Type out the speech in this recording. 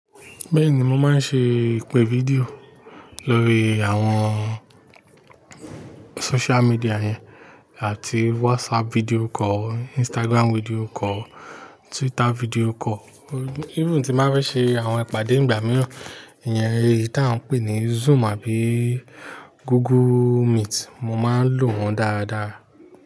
Bẹ́ẹ̀ni, mo máa ń ṣe ìpè fídíò lórí àwọn social media yẹn, áti WhatsApp video call, Instagram video call, Twitter video call. Even tí n bá fẹ́ ṣe àwọn ìpàdé ìgbà mìíràn, ìyẹn èyí tí a ń pè ní Zoom àbí Google Meet, mo máa ń lò wọ́n dáradára.